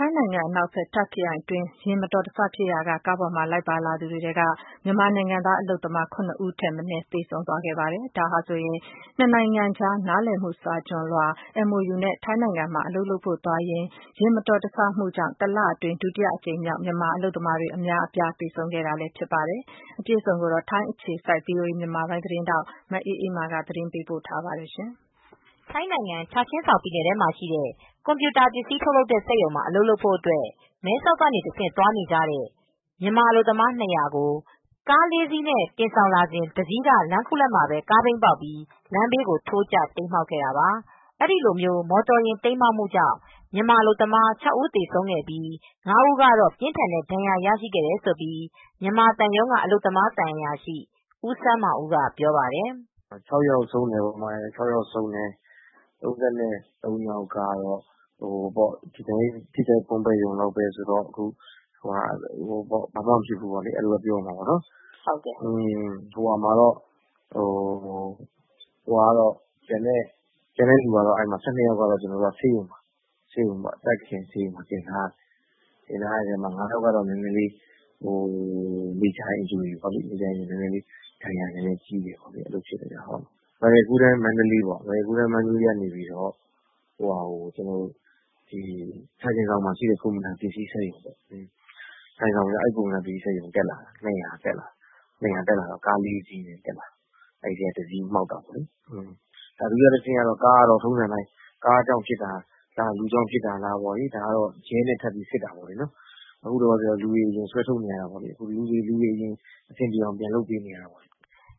ိုင်းနိုင်ငံ အနောက်ဘက် Tak ခရိုင်အတွင်း ယာဉ်မတော်တဆဖြစ်ရာက ကားပေါ်မှာ လိုက်ပါလာသူတွေထဲက မြန်မာနိုင်ငံသား အလုပ်သမား ၇ ဦးထက်မနည်း သေဆုံးသွားပါတယ်။ ဒါဟာဆိုရင် နှစ်နိုင်ငံကြား နားလည်မှုစာချွန်လွှာ MoU နဲ့ ထိုင်းနိုင်ငံမှာ အလုပ်လုပ်ဖို့ သွားကြရင်း ယာဉ်မတော်တဆမှုကြောင့် တလအတွင်း ဒုတိယအကြိမ်မြောက် မြန်မာအလုပ်သမားတွေ အများအပြား သေဆုံးခဲ့တာလည်း ဖြစ်ပါတယ်။ အပြည့်အစုံကိုတော့ ဗွီအိုအေ မြန်မာပိုင်း ထိုင်းအခြေစိုက်သတင်းထောက် မအေးအေးမာက သတင်း ပေးပို့ထားပါတယ်။ ထိုင်းနိုင်ငံ၊ ချာချင်ဆောင် ပြည်နယ်ထဲမှာရှိတဲ့ ကွန်ပြူတာပစ္စည်း ထုတ်လုပ်တဲ့စက်ရုံမှာ အလုပ်လုပ်ဖို့ မဲဆောက်ကဆင့် သွားနေကြတဲ့ မြန်မာအလုပ်သမား ၂၀၀ ကို ကား ၄စီးနဲ့ တင်ဆောင်လာစဉ် တစီးက လမ်းခုလတ်မှာ ကားဘီးပေါက်ပြီး လမ်းဘေးကို ထိုးကျ၊ တိမ်းမှောက်ခဲ့တာပါ။ အဲဒီလို မော်တော်ယာဉ် တိမ်းမှောက်မှုကြောင့် မြန်မာအလုပ်သမား ၆ဦးသေဆုံးခဲ့ပြီး ၅ဦးကတော့ ပြင်းထန်တဲ့ ဒဏ်ရာ ရရှိခဲ့တယ်လို့ မြန်မာသံရုံးက အလုပ်သမားသံအရာရှိ ဦးစန်းမောင်ဦးကေ ေုပာပါတယ်။ " ၆ယောက် ဆုံးတယ်ပေါ့။ ၃၃ယောက်က ထိခိုက် ပွန်းရှရုံပဲ။ ဘာမှ သိပ်မဖြစ်ဘူးဘဲ ပြောရမှာပေါ့။ ကျန်တဲ့လူ ၁၂ယောက်က ဆေးရုံမှာ တင်ထားရတယ်။ ၅ယောက်ကတော့ နည်းနည်းမေဂျာ issue နည်းနည်း ဒဏ်ရာပြင်းတယ်။" လောလောဆည်မှာတော့ ရဲတွေက စစ်ချက်ယူနေတယ်လို့လည်း သူက ဆက်ပြောပြပါတယ်။ " Royal golden Mandalay ကနေ ချာချင်ဆောင်မှာရှိတဲ့ ကွန်ပြူတာပစ္စည်း စက်ရုံကို လူ ၂၀၀ တက်လာတယ်။ ကား ၄စီးနဲ့။ အဲဒီထဲက ကားတစီးက မှောက်တာပေါ့။ ဒုတိယတဆင့်ကတော့ ကားကြောင့်ဖြစ်တာလား၊ လူကြောင့်ဖြစ်တာလား၊ ရဲနဲ့ စစ်နေ၇တာပေါ့။ လောလောဆယ် လူတွေကို ဆွဲထုတ်နေရတာပေါ့၊ အဆင်ပြေအောင်။